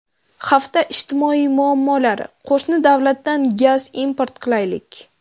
Hafta ijtimoiy muammolari: Qo‘shni davlatdan gaz import qilaylik.